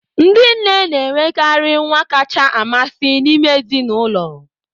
Ndị nne na-enwekarị nwa kacha amasị n'ime ezinụlọ.